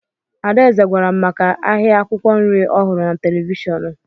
Adaeze gwara m maka ahịa akwụkwọ nri ọ hụrụ na televishọnụ